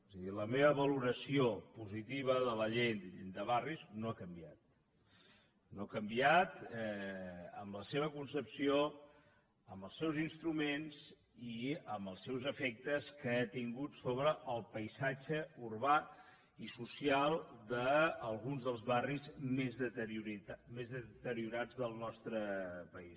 és a dir la meva valoració positiva de la llei de barris no ha canviat no ha canviat en la seva concepció en els seus instruments i en els seus efectes que ha tingut sobre el paisatge urbà i social d’alguns dels barris més deteriorats del nostre país